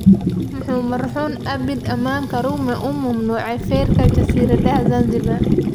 muxuu marxuum Abeid Aman Karume u mamnuucay feerka jasiiradaha Zanzibar?